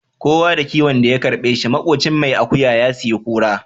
Kowa da kiwon da ya karbe shi makocin mai akuya ya sayi kura.